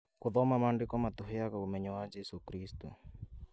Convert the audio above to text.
Gũthoma maandĩko matũheaga ũmenyo wa jesũ kristũ